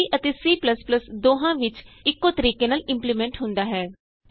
ਇਹ C ਅਤੇ C ਦੋਹਾਂ ਵਿਚ ਇਕੋ ਤਰੀਕੇ ਨਾਲ ਇੰਪਲੀਮੈਂਟ ਹੁੰਦਾ ਹੈ